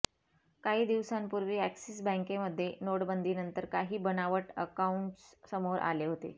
काही दिवसांपूर्वी अॅक्सिस बँकमध्ये नोटबंदीनंतर काही बनावट अकाऊंट्स समोर आले होते